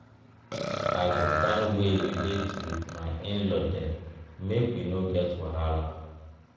i go find wey relate wit my in law dem make we no get wahala.